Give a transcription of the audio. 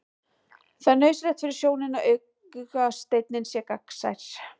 Það er nauðsynlegt fyrir sjónina að augasteininn sé gegnsær.